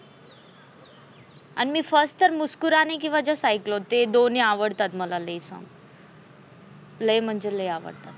आणि first तर मुस्कुराने की वजा स आयकल ते दोन्ही लय आवडतात मला, लय फार लय म्हणजे लय आवडतात.